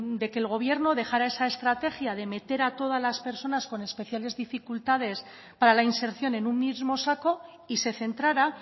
de que el gobierno dejara esa estrategia de meter a todas las personas con especiales dificultades para la inserción en un mismo saco y se centrara